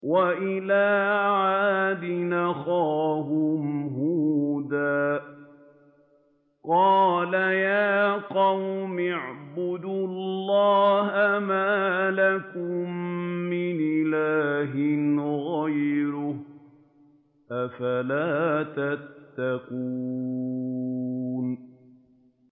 ۞ وَإِلَىٰ عَادٍ أَخَاهُمْ هُودًا ۗ قَالَ يَا قَوْمِ اعْبُدُوا اللَّهَ مَا لَكُم مِّنْ إِلَٰهٍ غَيْرُهُ ۚ أَفَلَا تَتَّقُونَ